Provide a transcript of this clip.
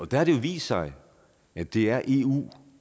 der har det jo vist sig at det er eu